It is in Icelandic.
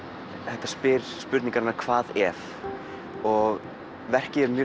þetta spyr spurningarinnar hvað ef og verkið er mjög